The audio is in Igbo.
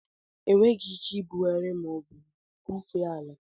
Enweghị ike ibugharị ma ọ bụ bufee ala.